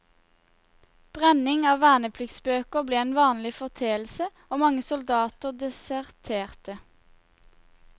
Brenning av vernepliktsbøker ble en vanlig foreteelse, og mange soldater deserterte.